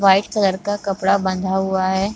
White colour का कपड़ा बाँधा हुआ ह।